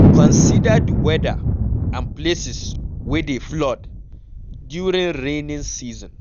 Consider di weather and places wey dey flood during raining season